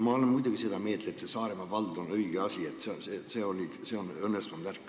Muidugi ma olen seda meelt, et see Saaremaa vald on õige asi, see on õnnestunud värk.